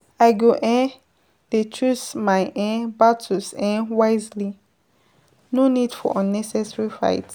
I go um dey choose my um battles um wisely, no need for unnecessary fight.